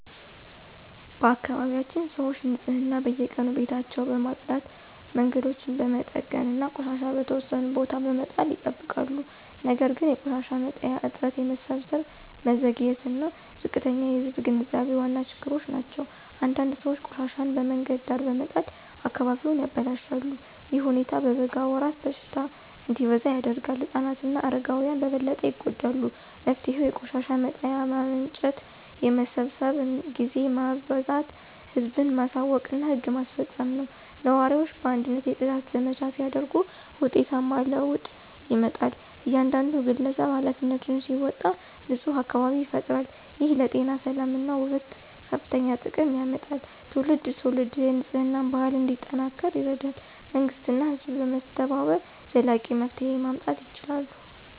በአካባቢያችን ሰዎች ንፅህናን በየቀኑ ቤታቸውን በመጽዳት መንገዶችን በመጠገን እና ቆሻሻ በተወሰነ ቦታ በመጣል ይጠብቃሉ። ነገር ግን የቆሻሻ መጣያ እጥረት የመሰብሰብ መዘግየት እና ዝቅተኛ የህዝብ ግንዛቤ ዋና ችግሮች ናቸው። አንዳንድ ሰዎች ቆሻሻቸውን በመንገድ ዳር በመጣል አካባቢውን ያበላሻሉ። ይህ ሁኔታ በበጋ ወራት በሽታ እንዲበዛ ያደርጋል ህፃናት እና አረጋውያን በበለጠ ይጎዳሉ። መፍትሄው የቆሻሻ መጣያ ማመንጨት የመሰብሰብ ጊዜ ማበዛት ህዝብን ማሳወቅ እና ህግ ማስፈጸም ነው። ነዋሪዎች በአንድነት የጽዳት ዘመቻ ሲያደርጉ ውጤታማ ለውጥ ይመጣል። እያንዳንዱ ግለሰብ ኃላፊነቱን ሲወጣ ንፁህ አካባቢ ይፈጠራል። ይህ ለጤና ሰላም እና ውበት ከፍተኛ ጥቅም ያመጣል ትውልድ ትውልድ የንፅህና ባህል እንዲጠናከር ይረዳል። መንግሥት እና ህዝብ በመተባበር ዘላቂ መፍትሄ ማምጣት ይችላሉ።